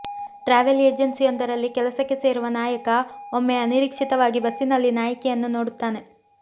travel ಏಜೆನ್ಸಿಯೊಂದರಲ್ಲಿ ಕೆಲಸಕ್ಕೆ ಸೇರುವ ನಾಯಕ ಒಮ್ಮೆ ಅನಿರೀಕ್ಷಿತವಾಗಿ ಬಸ್ಸಿನಲ್ಲಿ ನಾಯಕಿಯನ್ನು ನೋಡುತ್ತಾನೆ